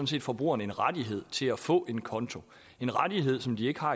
set forbrugerne en rettighed til at få en konto en rettighed som de ikke har